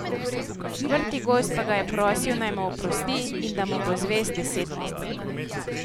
Vrtigozd pa ga je prosil, naj mu oprosti in da mu bo zvest deset let.